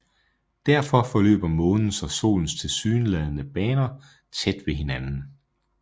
Derfor forløber Månens og Solens tilsyneladende baner tæt ved hinanden